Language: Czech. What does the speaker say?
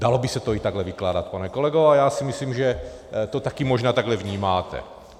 Dalo by se to i takhle vykládat, pane kolego, a já si myslím, že to taky možná takhle vnímáte.